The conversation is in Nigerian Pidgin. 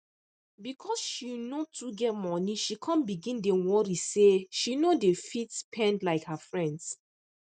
because she no too get money she come begin dey worry say she no dey fit spend like her friends